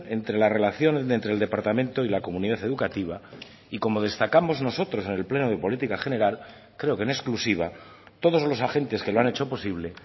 entre la relación entre el departamento y la comunidad educativa y como destacamos nosotros en el pleno de política general creo que en exclusiva todos los agentes que lo han hecho posible